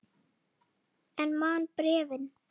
En man bréfin.